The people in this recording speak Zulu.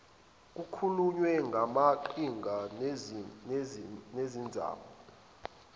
kukhulunywe ngamaqhinga nemizamo